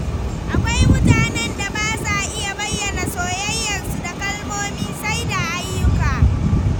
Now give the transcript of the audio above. Akwai mutanen da ba sa iya bayyana soyayyarsu da kalmomi, sai da ayyuka.